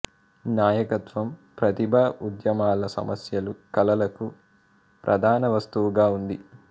నాయకత్వం ప్రతిభ ఉద్యమాల సమస్యలు కళలకు ప్రధాన వస్తువుగా ఉంది